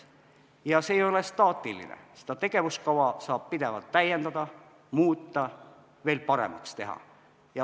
Ja see kava ei ole staatiline, seda tegevuskava saab pidevalt täiendada, muuta, veel paremaks teha.